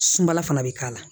Sumala fana bɛ k'a la